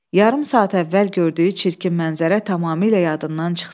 Yarım saat əvvəl gördüyü çirkin mənzərə tamamilə yadından çıxdı.